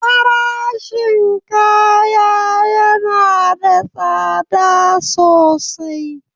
Farashin kaya yana da tsada sosai.